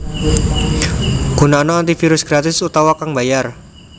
Gunakna antivirus gratis utawa kang mbayar